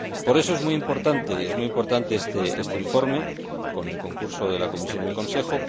Por eso es muy importante este informe, con el concurso de la Comisión y del Consejo.